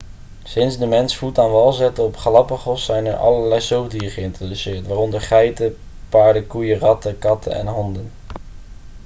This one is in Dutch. sinds de mens voet aan wal zette op de galapagos zijn er allerlei zoogdieren geïntroduceerd waaronder geiten paarden koeien ratten katten en honden